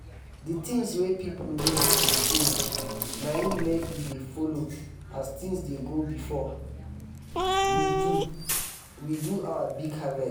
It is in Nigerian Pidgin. di tins wey pipo need dey change na im make we dey follo as tins dey go before we do we do our big harvest.